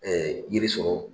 yiri sɔrɔ